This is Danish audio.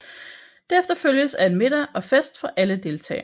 Det efterfølges af en middag og fest for alle deltagere